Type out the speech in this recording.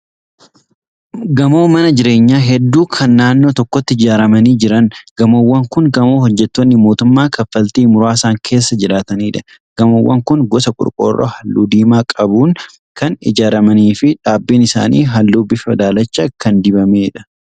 Gamoo mana jireenyaa hedduu kan naannoo tokkotti ijaaramanii jiran. Gamoowwan kun gamoo hojjettoonni mootummaa kaffaltii muraasaan keessa jiraatanidha. Gamoowwan kun gosa qorqoorroo halluu diimaa qabuun kan ijaaramanii fi dhaabbiin isaanii halluu bifa daalacha qabuun dibamee jira.